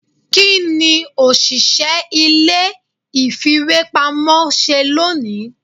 kiní oṣiṣẹ ilé ìfíwepámọ ṣe loní?